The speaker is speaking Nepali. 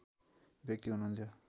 व्यक्ति हुनुहुन्थ्यो